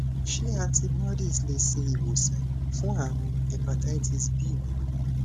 ṣé antibodies le se iwosan fun àrùn hepatitis b mi